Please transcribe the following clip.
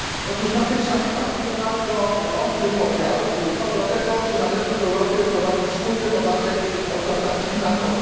Na tej sali panuje bardzo ostry podział co do tego, czy należy w Europie wprowadzić wspólny podatek od transakcji finansowych.